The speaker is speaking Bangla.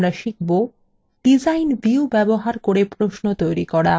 ডিজাইন view ব্যবহার করে প্রশ্ন তৈরি করা